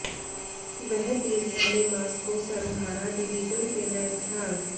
वह तीर पहले मास्को सर्वहारा डिवीजन से लैस था